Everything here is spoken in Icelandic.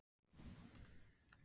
Björn Þorláksson: Hvers vegna?